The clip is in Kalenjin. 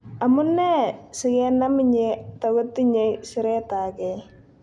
Amu nee sikenam ine takotinyei siretagei.